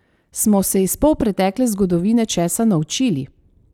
Smo se iz polpretekle zgodovine česa naučili?